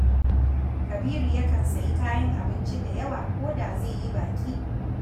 Kabiru yakan sayi kayan abinci da yawa ko da zai yi baƙi